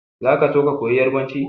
Za ka so ka koyi yarbanci?